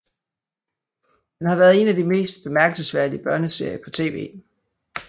Den har været en af de mest bemærkelsesværdige børneserier på tv